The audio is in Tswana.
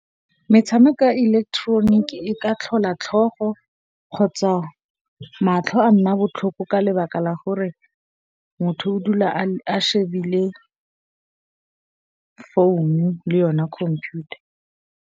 Metshameko ya electronic e ka tlhola tlhogo kgotsa matlho a nna botlhoko ka lebaka la gore motho o dula a shebile founu le yone computer.